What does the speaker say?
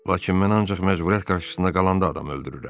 Lakin mən ancaq məcburiyyət qarşısında qalanda adam öldürürəm.